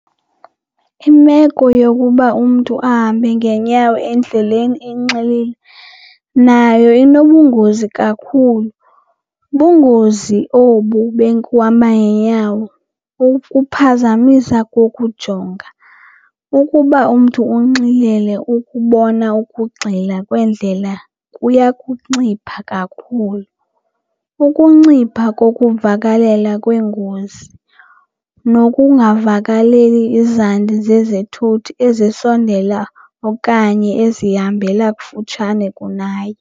Imeko yokuba umntu ahambe ngeenyawo endleleni enxilile nayo inobungozi kakhulu. Bungozi obu bekuhamba ngeenyawo kukuphazamisa kokujonga. Ukuba umntu unxilile, ukubona ukugxila kweendlela kuya kuncipha kakhulu, ukuncipha kokuvakalela kweengozi nokungavakaleli izandi zezithuthi ezisondela okanye ezihambela kufutshane kunaye.